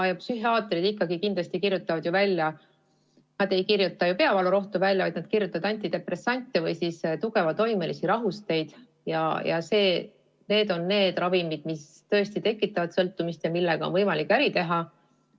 Psühhiaatrid ei kirjuta ju välja peavalurohtu, vaid nad kirjutavad välja antidepressante või tugevatoimelisi rahusteid – need on ravimid, mis tõesti tekitavad sõltuvust ja millega on võimalik ka äri teha.